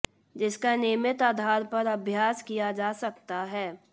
जिसका नियमित आधार पर अभ्यास किया जा सकता है